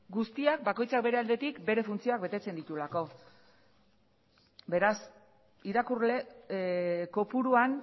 guztiak bakoitzak bere aldetik bere funtzioak betetzen dituelako beraz irakurle kopuruan